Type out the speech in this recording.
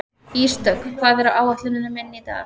Ísdögg, hvað er á áætluninni minni í dag?